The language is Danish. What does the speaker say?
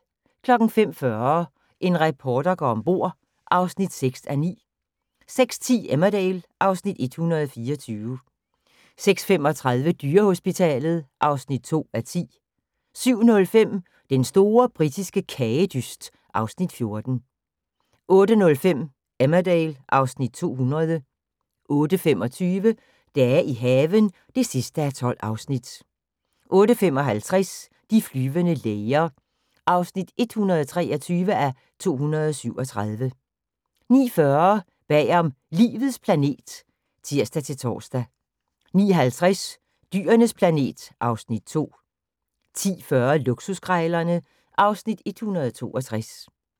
05:40: En reporter går om bord (6:9) 06:10: Emmerdale (Afs. 124) 06:35: Dyrehospitalet (2:10) 07:05: Den store britiske kagedyst (Afs. 14) 08:05: Emmerdale (Afs. 200) 08:25: Dage i haven (12:12) 08:55: De flyvende læger (123:237) 09:40: Bagom Livets planet (tir-tor) 09:50: Dyrenes planet (Afs. 2) 10:40: Luksuskrejlerne (Afs. 162)